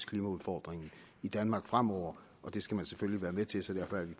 klimaudfordringen i danmark fremover det skal man selvfølgelig være med til så derfor